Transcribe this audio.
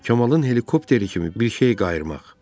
Kamalın helikopteri kimi bir şey qayırmaq.